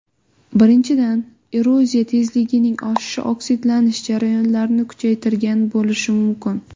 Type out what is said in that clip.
Birinchidan, eroziya tezligining oshishi oksidlanish jarayonlarini kuchaytirgan bo‘lishi mumkin.